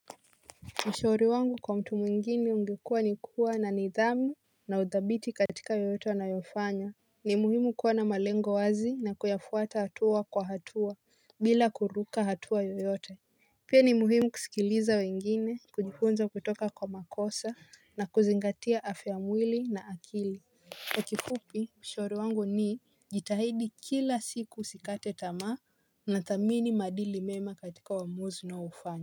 Ushauri wangu kwa mtu mwingine ungekuwa ni kuwa na nidhamu na udhabiti katika yeyote wanayofanya. Ni muhimu kuwa na malengo wazi na kuyafuata hatua kwa hatua bila kuruka hatua yoyote. Pia ni muhimu kusikiliza wengine kujifunza kutoka kwa makosa na kuzingatia afya mwili na akili. Kwa kikupi ushauri wangu ni jitahidi kila siku sikate tamaa na thamini madili mema katika wamuzi na ufanya.